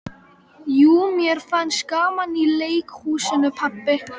Jú mér fannst gaman í leikhúsinu pabbi.